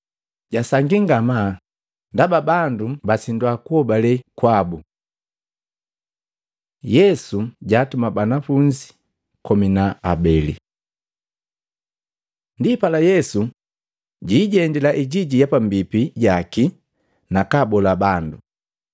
Jasangi ngamaa ndaba bandu kusindwa kuhobale kwabu. Yesu jaatuma banafunzi komi na habeli Matei 10:5-15; Luka 9:1-6 Ndipala Yesu jiijendila ijiji ya pambipi jaki nakabola bandu.